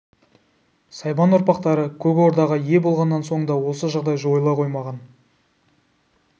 сайбан ұрпақтары көк ордаға ие болғаннан соң да осы жағдай жойыла қоймаған